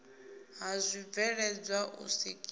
ha zwibveledzwa u sikiwa ha